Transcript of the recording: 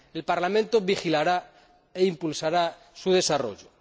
El Parlamento vigilará e impulsará su desarrollo.